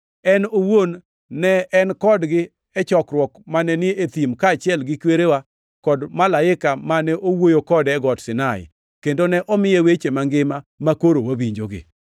En owuon ne en kodgi e chokruok mane ni e thim, kaachiel gi kwerewa kod malaika mane owuoyo kode e Got Sinai; kendo ne omiye weche mangima makoro wawinjogi.